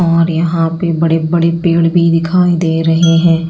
और यहां पे बड़े बड़े पेड़ भी दिखाई दे रहे हैं।